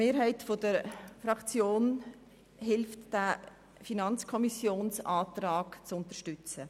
Die Mehrheit der Fraktion hilft, den Antrag der FiKo zu unterstützen.